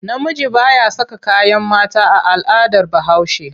Namiji ba ya saka kayan mata a al'adar Bahaushe.